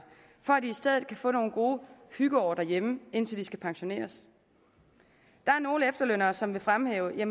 for at de i stedet kan få nogle gode hyggeår derhjemme indtil de skal pensioneres der er nogle efterlønnere som vil fremhæve at